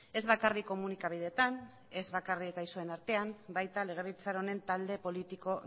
ez bakarrik komunikabideetan ez bakarrik gaixoen artean baita legebiltzar honen talde politiko